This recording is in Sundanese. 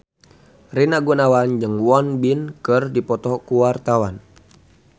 Rina Gunawan jeung Won Bin keur dipoto ku wartawan